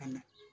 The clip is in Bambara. Ka na